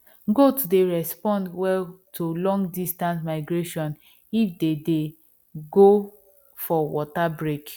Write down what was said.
goat dey respond well to long distance migration if they dey go for water break